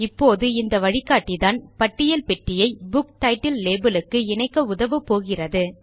இப்போது இந்த வழிகாட்டிதான் பட்டியல் பெட்டியை புக் டைட்டில் லேபல் க்கு இணைக்க உதவப்போகிறது